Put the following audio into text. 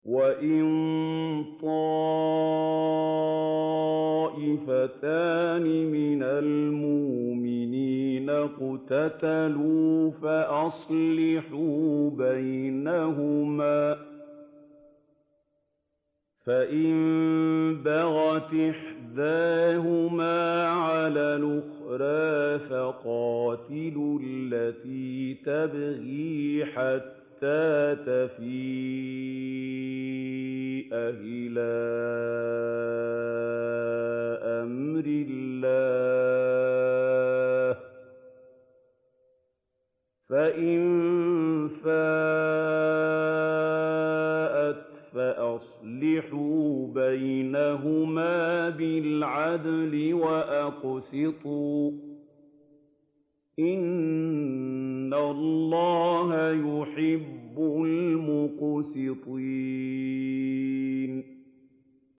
وَإِن طَائِفَتَانِ مِنَ الْمُؤْمِنِينَ اقْتَتَلُوا فَأَصْلِحُوا بَيْنَهُمَا ۖ فَإِن بَغَتْ إِحْدَاهُمَا عَلَى الْأُخْرَىٰ فَقَاتِلُوا الَّتِي تَبْغِي حَتَّىٰ تَفِيءَ إِلَىٰ أَمْرِ اللَّهِ ۚ فَإِن فَاءَتْ فَأَصْلِحُوا بَيْنَهُمَا بِالْعَدْلِ وَأَقْسِطُوا ۖ إِنَّ اللَّهَ يُحِبُّ الْمُقْسِطِينَ